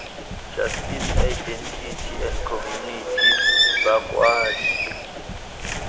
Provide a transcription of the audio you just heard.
justice identity and community bakwadi